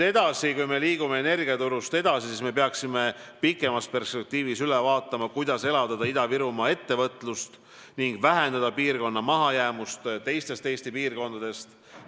Kui me liigume energiaturust edasi, siis me peaksime pikemas perspektiivis üle vaatama, kuidas elavdada Ida-Virumaal ettevõtlust ning vähendada piirkonna mahajäämust teistest Eesti piirkondadest.